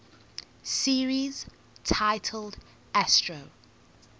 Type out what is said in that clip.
series titled astro